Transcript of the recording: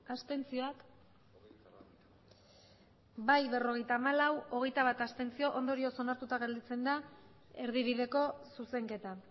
abstentzioak bai berrogeita hamalau abstentzioak hogeita bat ondorioz onartuta gelditzen da erdibideko zuzenketa